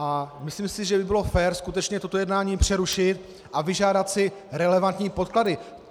A myslím si, že by bylo fér skutečně toto jednání přerušit a vyžádat si relevantní podklady.